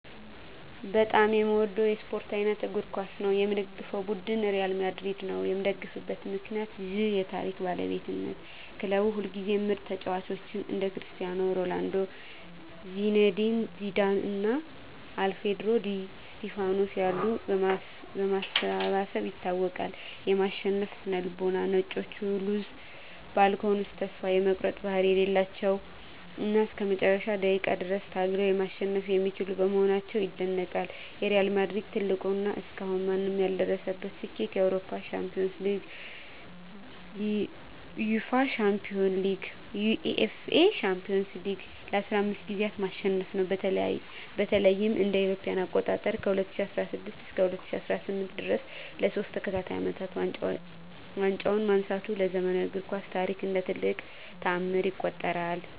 በጣም የምወደው የስፓርት አይነት እግር ኳስ ነው። የምደግፈው ቡድን ሪያል ማድሪድ ነው። የምደግፍበት ምክንያት ዠ የታሪክ ባለቤትነት ክለቡ ሁልጊዜም ምርጥ ተጫዋቾችን (እንደ ክርስቲያኖ ሮናልዶ፣ ዚነዲን ዚዳን እና አልፍሬዶ ዲ ስቲፋኖ ያሉ) በማሰባሰብ ይታወቃል። የማሸነፍ ስነ-ልቦና "ነጮቹ" (Los Blancos) ተስፋ የመቁረጥ ባህሪ የሌላቸው እና እስከ መጨረሻው ደቂቃ ድረስ ታግለው ማሸነፍ የሚችሉ በመሆናቸው ይደነቃሉ። የሪያል ማድሪድ ትልቁ እና እስካሁን ማንም ያልደረሰበት ስኬት የአውሮፓ ሻምፒዮንስ ሊግን (UEFA Champions League) ለ15 ጊዜያት ማሸነፉ ነው። በተለይም እ.ኤ.አ. ከ2016 እስከ 2018 ድረስ ለሶስት ተከታታይ አመታት ዋንጫውን ማንሳቱ በዘመናዊው እግር ኳስ ታሪክ እንደ ትልቅ ተአምር ይቆጠራል።